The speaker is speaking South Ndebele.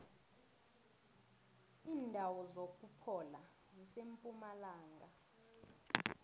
indawo zokuphola zisempumalanga